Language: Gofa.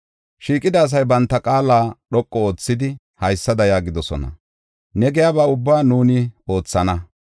Shiiqida asay banta qaala dhoqu oothidi, haysada yaagidosona. “Ne giyaba ubba nuuni oothana!